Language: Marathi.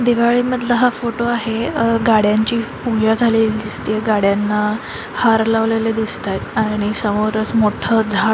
दिवाळी मधला हा फोटो आहे अ गाड्यांची पुजा झालेली दिसतीय गाड्यांना हार लावलेले दिसतायत आणि समोरच मोठ झा--